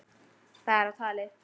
Það er á tali.